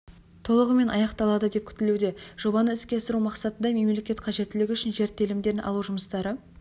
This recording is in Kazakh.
толығымен аяқталады деп күтілуде жобаны іске асыру мақсатында мемлекет қажеттілігі үшін жер телімдерін алу жұмыстары